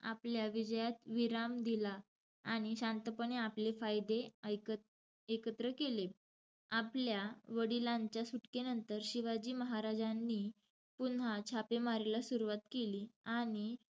आपल्या विजयात विराम दिला. आणि शांतपणे आपले फायदे ए~ एकत्र केले. आपल्या वडिलांच्या सुटकेनंतर, शिवाजी महाराजांनी पुन्हा छापेमारीला सुरुवात केली. आणि,